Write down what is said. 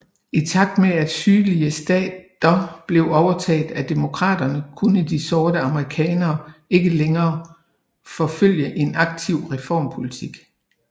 I takt med at sydlige stater blev overtaget af Demokraterne kunne de sorte amerikanere ikke længere forfølge en aktiv reformpolitik